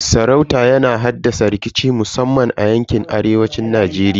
Sarauta yana haddasa rikici musamman a yankin arewan Najeriya.